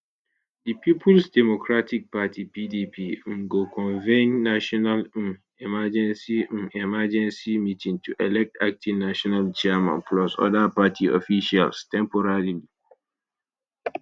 di peoples democratic party pdp um go convene national um emergency um emergency meeting to elect acting national chairman plus oda party officials temporarily